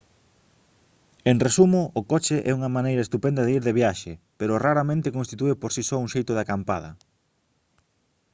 en resumo o coche é unha maneira estupenda de ir de viaxe pero raramente constitúe por si só un xeito de «acampada»